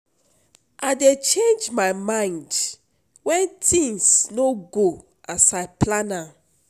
I dey change my mind wen things no go as I plan am.